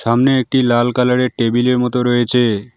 সামনে একটি লাল কালার -এর টেবিল -এর মত রয়েছে।